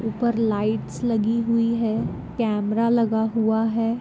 ऊपर लाइट्स लगी हुई है कैमरा लगा हुआ है।